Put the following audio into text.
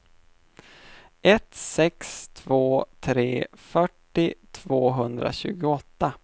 ett sex två tre fyrtio tvåhundratjugoåtta